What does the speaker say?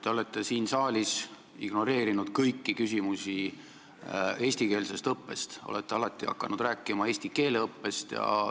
Te olete siin saalis ignoreerinud kõiki küsimusi eestikeelse õppe kohta, olete alati hakanud rääkima eesti keele õppest.